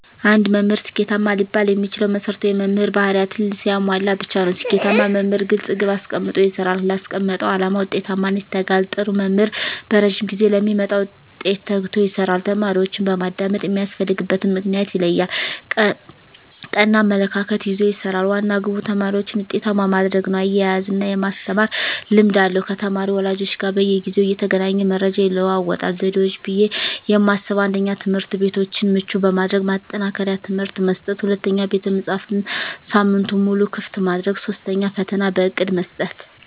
አንድ መምህር ስኬታማ ሊባል የሚችለው መሰረታዊ የመምህር ባህርያትን ሲያሟላ ብቻ ነው። ስኬታማ መምህር ግልፅ ግብ አስቀምጦ ይሰራል: ላስቀመጠው አላማ ውጤታማነት ይተጋል, ጥሩ መምህር በረዥም ጊዜ ለሚመጣ ውጤት ተግቶ ይሰራል። ተማሪዎችን በማዳመጥ የሚያስፈልግበትን ምክንያት ይለያል ,ቀና አመለካከት ይዞ ይሰራል, ዋና ግቡ ተማሪዎችን ውጤታማ ማድረግ ነው እያዝናና የማስተማር ልምድ አለው ከተማሪ ወላጆች ጋር በየጊዜው እየተገናኘ መረጃ ይለዋወጣል። ዘዴዎች ብዬ የማስበው 1ኛ, ትምህርትቤቶችን ምቹ በማድረግ ማጠናከሪያ ትምህርት መስጠት 2ኛ, ቤተመፅሀፍትን ሳምንቱን ሙሉ ክፍት ማድረግ 3ኛ, ፈተና በእቅድ መስጠት።